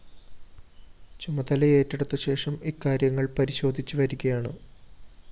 ചുമതലയേറ്റെടുത്ത ശേഷം ഇക്കാര്യങ്ങള്‍ പരിശോധിച്ചു വരികയാണ്